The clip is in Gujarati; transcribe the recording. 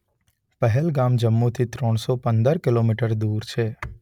પહેલગામ જમ્મુથી ત્રણસો પંદર કિલોમીટર દૂર છે.